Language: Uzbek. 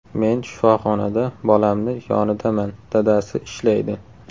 Men shifoxonada bolamni yonidaman, dadasi ishlaydi.